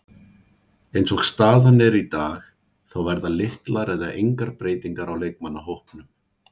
Eins og staðan er í dag þá verða litlar eða engar breytingar á leikmannahópnum.